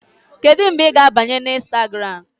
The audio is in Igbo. Kedu mgbe ị ga-abanye na Instagram?